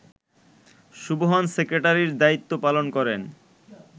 সুবহান সেক্রেটারির দায়িত্ব পালন করেন